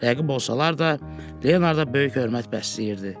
Rəqib olsalar da, Leonarda böyük hörmət bəsləyirdi.